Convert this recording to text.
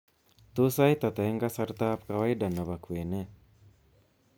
Tos sait ata eng kasartab kawaida nebo kwenet